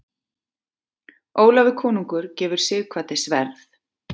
Ólafur konungur gefur Sighvati sverð.